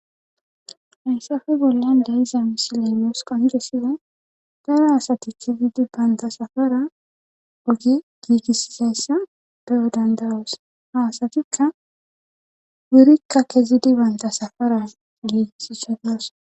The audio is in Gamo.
heesafe bollan de iza misilenoos qongesiwe dara asati kezidi banta safara ogi giigissizayssa beyo dandawos haasatikka burikka kezidi bantasafara giigissishadios